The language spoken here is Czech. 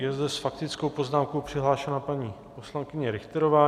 Je zde s faktickou poznámkou přihlášena paní poslankyně Richterová.